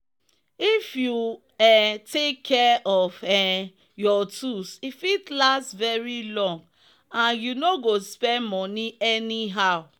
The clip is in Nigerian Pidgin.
if you um take care of um your tools e fit last very long and you no go spend moni anyhow